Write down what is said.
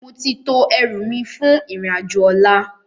Móti tó èrú mi fún irin ájò òlá